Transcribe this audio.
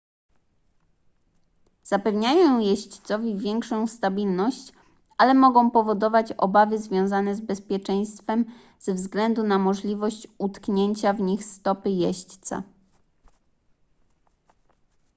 zapewniają jeźdźcowi większą stabilność ale mogą powodować obawy związane z bezpieczeństwem ze względu na możliwość utknięcia w nich stopy jeźdźca